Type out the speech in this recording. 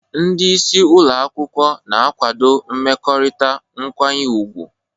Ndị isi ụlọ akwụkwọ na-akwado mmekọrịta nkwanye ùgwù.